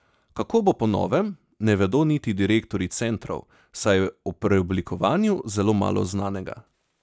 Kako bo po novem, ne vedo niti direktorji centrov, saj je o preoblikovanju zelo malo znanega.